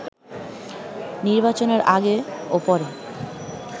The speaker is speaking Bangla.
নির্বাচনের আগে ও পরে